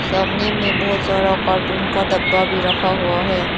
सामने में बहोत सारा कार्टून का डब्बा भी रखा हुआ है।